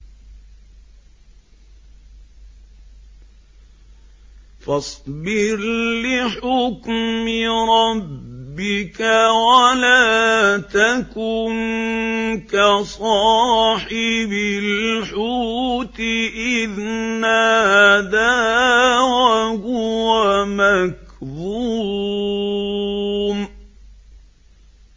فَاصْبِرْ لِحُكْمِ رَبِّكَ وَلَا تَكُن كَصَاحِبِ الْحُوتِ إِذْ نَادَىٰ وَهُوَ مَكْظُومٌ